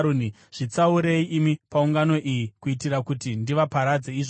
“Zvitsaurei imi paungano iyi kuitira kuti ndivaparadze izvozvi.”